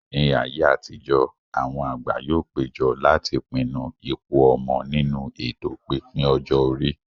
Ní ayé àtijó, àwọn àgbà yóò péjọ láti pinnu ipò ọmọ nínú ètò pípín ọjọ́ orí